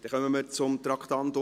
Wir kommen zum Traktandum 41.